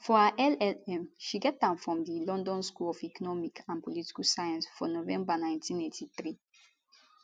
for her llm she get am from di london school of economic and political science for november 1983